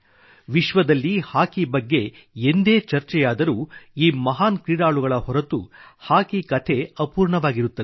ವಿಶ್ವದಲ್ಲಿ ಹಾಕಿ ಬಗ್ಗೆ ಎಂದೇ ಚರ್ಚೆಯಾದರೂ ಈ ಮಹಾನ್ ಕ್ರೀಡಾಳುಗಳ ಹೊರತು ಹಾಕಿ ಕಥೆ ಅಪೂರ್ಣವಾಗಿರುತ್ತದೆ